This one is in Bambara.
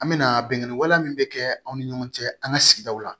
An me na bingani wale min kɛ anw ni ɲɔgɔn cɛ an ka sigidaw la